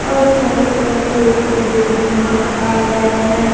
और चारों तरफ पेड़ पौधे भी नजर आ रहे हैं।